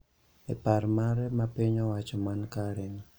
e par mare ma piny owacho man Karen